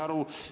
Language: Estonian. Aeg!